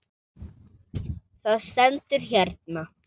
Það stendur hérna.